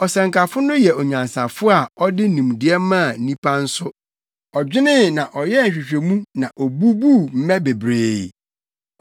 Ɔsɛnkafo no yɛ onyansafo na ɔde nimdeɛ maa nnipa nso. Ɔdwenee na ɔyɛɛ nhwehwɛmu na obubuu mmɛ bebree.